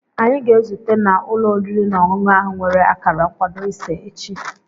Anyị ga-ezute na ụlọ oriri na ọṅụṅụ ahụ nwere akara nkwado ise echi.